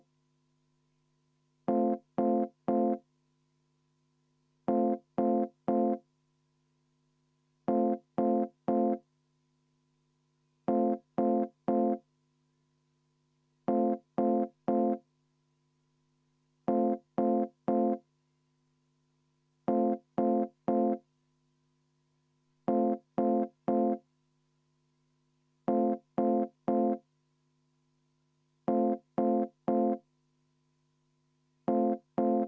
Enne muudatusettepaneku hääletust palun teha kümneminutiline vaheaeg ning viia läbi ka kohaloleku kontroll.